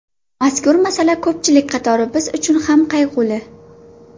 Mazkur masala ko‘pchilik qatori biz uchun ham qayg‘uli.